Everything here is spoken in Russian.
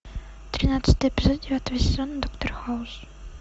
тринадцатый эпизод девятого сезона доктор хаус